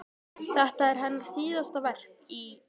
Þetta er hennar síðasta verk í